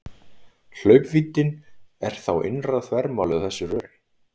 Hlaupvíddin er þá innra þvermálið á þessu röri.